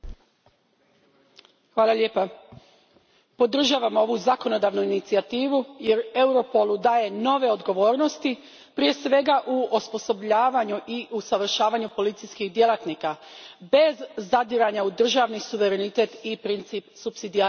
Gospođo predsjednice, podržavam ovu zakonodavnu inicijativu jer Europolu daje nove odgovornosti, prije svega u osposobljavanju i usavršavanju policijskih djelatnika, bez zadiranja u državni suverenitet i princip supsidijarnosti.